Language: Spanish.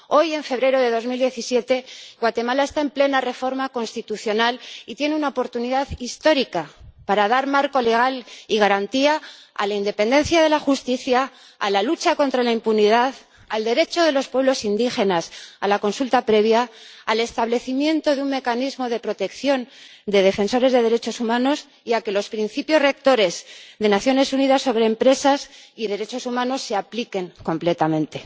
Hoy, en febrero de 2017, Guatemala está en plena reforma constitucional y tiene una oportunidad histórica para dar marco legal y garantía a la independencia de la justicia, a la lucha contra la impunidad, al derecho de los pueblos indígenas a la consulta previa, al establecimiento de un mecanismo de protección de defensores de los derechos humanos, y a que los Principios Rectores de las Naciones Unidas sobre las empresas y los derechos humanos se apliquen completamente.